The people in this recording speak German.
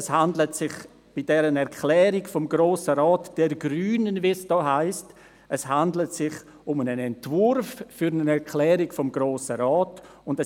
Es handelt sich bei der Erklärung des Grossen Rates nicht, wie es heisst, um eine «Erklärung der Grünen», sondern um einen Entwurf für eine Erklärung des Grossen Rates.